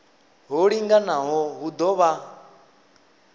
ho linganaho hu ḓo vha